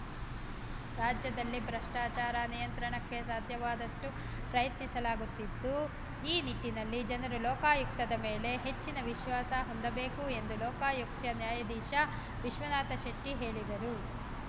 ರಾಜ್ಯದಲ್ಲಿ ಭ್ರಷ್ಟಾಚಾರ ನಿಯಂತ್ರಣಕ್ಕೆ ಸಾಧ್ಯವಾದಷ್ಟು ಪ್ರಯತ್ನಿಸಲಾಗುತ್ತಿದ್ದು ಈ ನಿಟ್ಟಿನಲ್ಲಿ ಜನರು ಲೋಕಾಯುಕ್ತದ ಮೇಲೆ ಹೆಚ್ಚಿನ ವಿಶ್ವಾಸ ಹೊಂದಬೇಕು ಎಂದು ಲೋಕಾಯುಕ್ತ ನ್ಯಾಯದೀಶ ವಿಶ್ವನಾಥಶೆಟ್ಟಿಹೇಳಿದರು